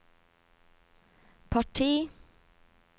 parti